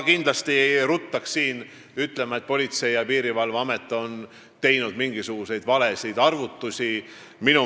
Ma ei ruttaks küll ütlema, et PPA on teinud mingisuguseid valesid arvutusi.